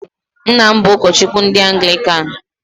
Nna m bụ ụkọchukwu ndị anglikan.